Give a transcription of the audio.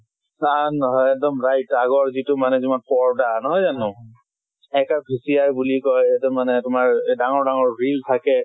তাত নহয়। এক্দম right আগৰ যিটো মানে তোমাৰ পৰ্দা নহয় জানো? এক কা ঘুচীয়া গুলি কয় মানে তোমাৰ এই ডাঙৰ ডাঙৰ wheel থাকে।